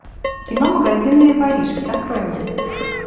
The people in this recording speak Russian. кино магазинные воришки открой мне